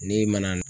N'i ma na